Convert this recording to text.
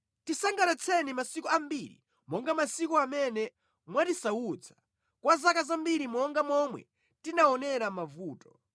Tisangalatseni masiku ambiri monga masiku amene mwatisautsa, kwa zaka zambiri monga momwe tinaonera mavuto.